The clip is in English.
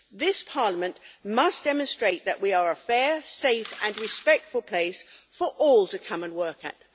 This Parliament must demonstrate that we are a fair, safe and respectful place for all to come and work at.